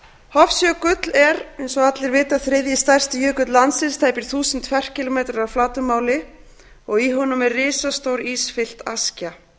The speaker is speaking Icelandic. hofsjökull er eins og allir vita þriðji stærsti jökull landsins tæpir eitt þúsund ferkílómetrar að flatarmáli og í honum er risastór ísfyllt askja